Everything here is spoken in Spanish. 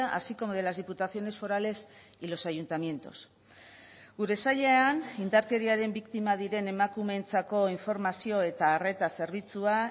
así como de las diputaciones forales y los ayuntamientos gure sailean indarkeriaren biktima diren emakumeentzako informazio eta arreta zerbitzua